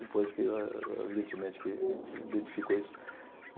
Depois que, eh evidentemente, que identificou isso.